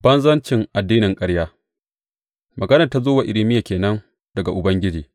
Banzancin addinin ƙarya Maganar da ta zo wa Irmiya ke nan daga Ubangiji.